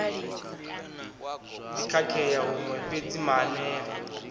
ḓi khakhea huṅwe fhedzi maanea